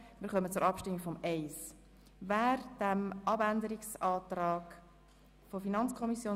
Wir kommen zum Abänderungsantrag 2 der FiKo-Minderheit, der Grünen und der SP-JUSO-PSA-Fraktion.